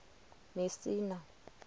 mesina